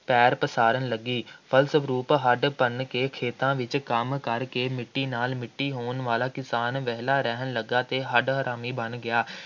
ਪੈਰ ਪਸਾਰਨ ਲੱਗੀ, ਫਲਸਰੂਪ ਹੱਡ ਭੰਨ ਕੇ ਖੇਤਾਂ ਵਿੱਚ ਕੰਮ ਕਰਕੇ ਮਿੱਟੀ ਨਾਲ ਮਿੱਟੀ ਹੋਣ ਵਾਲਾ ਕਿਸਾਨ ਵਿਹਲਾ ਰਹਿਣ ਲੱਗਾ ਅਤੇ ਹੱਡ-ਹਰਾਮੀ ਬਣ ਗਿਆ,